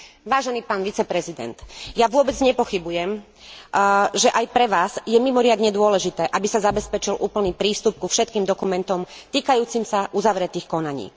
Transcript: Vážený pán viceprezident, ja vôbec nepochybujem, že aj pre vás je mimoriadne dôležité, aby sa zabezpečil úplný prístup ku všetkým dokumentom týkajúcim sa uzavretých konaní.